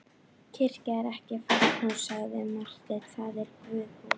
Kirkja er ekki fangahús, sagði Marteinn,-það er Guðshús.